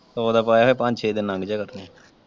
ਸੋ ਦਾ ਪੁਆਇਆ ਹੋਵੇ ਤੇ ਪੰਜ ਛੇ ਦਿਨ ਲੰਘ ਜੇ ਕਰਨੇ।